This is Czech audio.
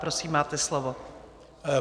Prosím, máte slovo.